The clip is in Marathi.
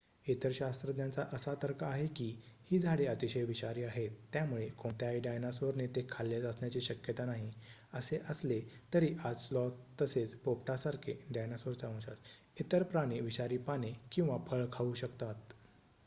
इतर शास्त्रज्ञांचा असा तर्क आहे की ही झाडे अतिशय विषारी आहेत त्यामुळे कोणत्याही डायनासोरने ते खाल्लेच असण्याची शक्यता नाही असे असले तरी आज स्लॉथ तसेच पोपटासारखे डायनासोरचा वंशज इतर प्राणी विषारी पाने किंवा फळ खाऊ शकतात